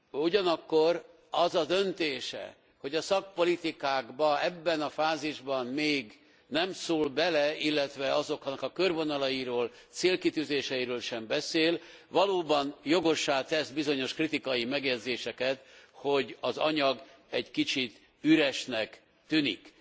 Ugyanakkor az a döntése, hogy a szakpolitikákba ebben a fázisban még nem szól bele, illetve azoknak a körvonalairól, célkitűzéseiről sem beszél, valóban jogossá tesz bizonyos kritikai megjegyzéseket, hogy az anyag egy kicsit üresnek tűnik.